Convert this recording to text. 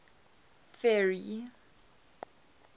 ferry